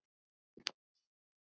Það yljar enn.